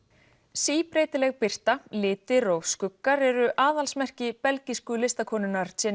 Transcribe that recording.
síbreytileg birta litir og skuggar eru aðalsmerki belgísku listakonunnar